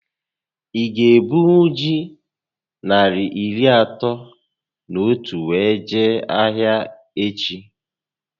Ị ga ebunwu ji narị iri atọ na otu a wee jee ahịa echi?